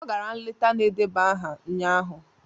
Ọ gara nleta na-edeba aha ụnyahụ